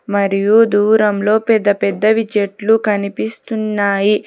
మరియు దూరంలో పెద్ద పెద్దవి చెట్లు కనిపిస్తున్నాయి.